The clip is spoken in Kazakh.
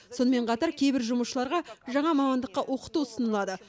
сонымен қатар кейбір жұмысшыларға жаңа мамандыққа оқыту ұсыналады